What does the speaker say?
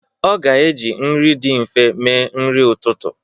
Ọ ga-eji nri dị nfe mee nri ụtụtụ.